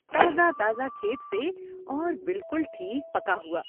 تازہ تازہ کھیت سے اور بالکل ٹھیک پکا ہوا۔